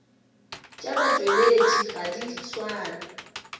tša batšweletši ga di swane